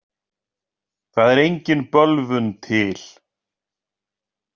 Það er engin bölvun til.